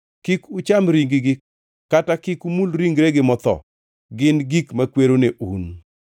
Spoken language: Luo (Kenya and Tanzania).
Kik ucham ring-gi kata kik umul ringregi motho. Gin gik makwero ne un.